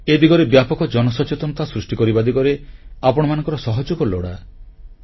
ଏ ଦିଗରେ ବ୍ୟାପକ ଜନସଚେତନତା ସୃଷ୍ଟି କରିବା ଦିଗରେ ଆପଣମାନଙ୍କର ସହଯୋଗ ଲୋଡ଼ା